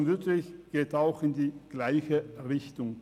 Die Motion Wüthrich geht in die gleiche Richtung.